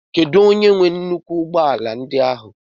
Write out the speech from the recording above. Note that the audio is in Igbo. Kedu onye nwe nnukwu ụgbọ ala ndi áhu?